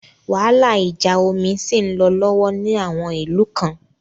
Wàhálà ìjà omi ṣì ń lọ lọ́wọ́ ní àwọn ìlú kan.